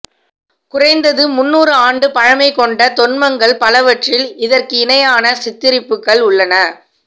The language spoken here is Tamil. குறைந்தது முந்நூறு ஆண்டு பழைமைகொண்ட தொன்மங்கள் பலவற்றில் அதற்கிணையான சித்தரிப்புகள் உள்ளன